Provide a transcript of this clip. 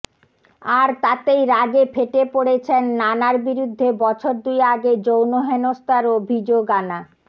আর তাতেই রাগে ফেটে পড়েছেন নানার বিরুদ্ধে বছর দুই আগে যৌন হেনস্থার অভিযোগ আনা